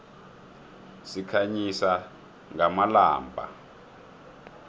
sikhanyisa ngamalombha